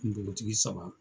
Kungotigi saba